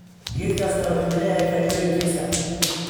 Geed kastaa wuxuu leeyahay faa'iidooyinkiisa.